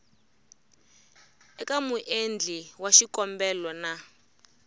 eka muendli wa xikombelo na